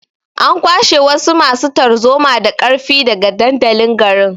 An kwashe wasu masu tarzoma da ƙarfi daga dandalin garin.